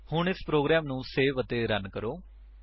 ਹੁਣ ਇਸ ਪ੍ਰੋਗਰਾਮ ਨੂੰ ਸੇਵ ਅਤੇ ਰਨ ਕਰੋ